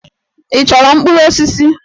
Ị chọrọ mkpụrụ osisi?